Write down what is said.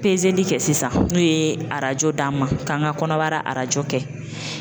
Peseli kɛ sisan n'o ye arajo d'an ma k'an ka kɔnɔbara arajo kɛ.